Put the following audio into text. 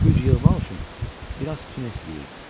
Güc yığmaq üçün biraz tunes yeyim.